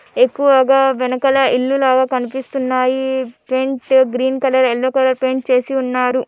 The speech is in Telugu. ఎక్కువగా వెనకల ఇల్లులాగా కనిపిస్తున్నాయి. Front green colour yellow colour paint చేసి ఉన్నారు.